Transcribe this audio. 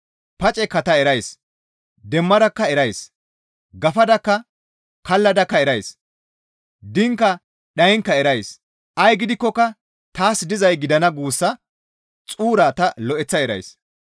Pacekka ta erays; demmadakka erays; gafadakka, kalladakka erays; diinka dhayiinkka erays; ay gidikkoka taas dizay gidana guussa xuura ta lo7eththa erays.